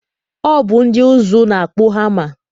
Ọ bụ ndị ụzụ na-akpụ hama.